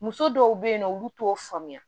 Muso dɔw be yen nɔ olu t'o faamuya